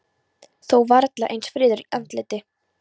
Þó varla eins fríður í andliti.